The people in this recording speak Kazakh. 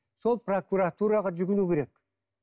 сол прокуратураға жүгіну керек